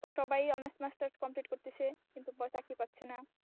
সবাই honours masters complete করতেছে কিন্তু চাকরি পাচ্ছে না।